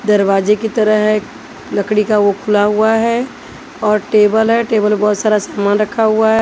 दरवाजे की तरह है लकड़ी का वो खुला हुआ है और टेबल है टेबल पे बहोत सारा सामान रखा हुआ है।